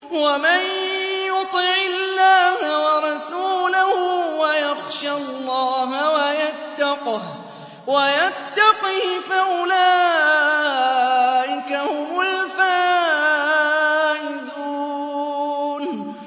وَمَن يُطِعِ اللَّهَ وَرَسُولَهُ وَيَخْشَ اللَّهَ وَيَتَّقْهِ فَأُولَٰئِكَ هُمُ الْفَائِزُونَ